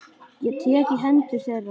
Ég tek í hendur þeirra.